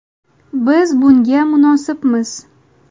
Biz bunga munosibmiz.